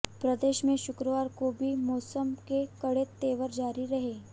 प्रदेश में शुक्रवार को भी मौसम के कड़े तेवर जारी रहे